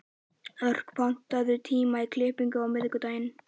Örk, pantaðu tíma í klippingu á miðvikudaginn.